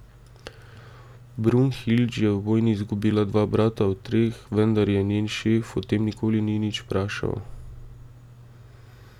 Brunhilde je v vojni izgubila dva brata od treh, vendar je njen šef o tem nikoli ni nič vprašal.